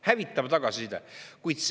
Hävitav tagasiside.